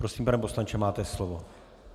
Prosím, pane poslanče, máte slovo.